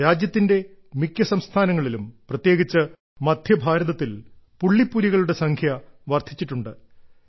രാജ്യത്തിന്റെ മിക്ക സംസ്ഥാനങ്ങളിലും പ്രത്യേകിച്ച് മദ്ധ്യഭാരതത്തിൽ പുള്ളിപ്പുലികളുടെ സംഖ്യ വർദ്ധിച്ചിട്ടുണ്ട്